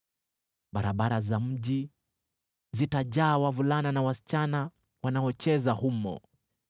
Barabara za mji zitajaa wavulana na wasichana wanaocheza humo.”